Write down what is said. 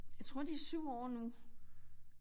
Jeg tror de 7 år nu